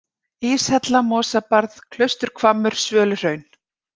Íshella, Mosabarð, Klausturhvammur, Svöluhraun